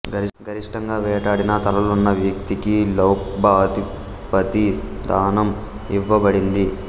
గరిష్టంగా వేటాడిన తలలున్న వ్యక్తికి లక్బౌ అధిపతి స్థానం ఇవ్వబడింది